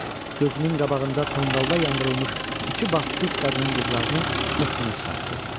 Gözünün qabağında tonqalda yandırılmış iki baptist qadının qızlarını xoş günə çıxartdı.